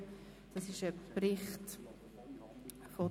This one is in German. Wir gelangen zur Abstimmung.